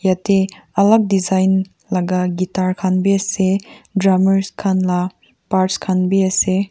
yate olop design laga guitar khan bi ase drummers khan la parts khan bi ase.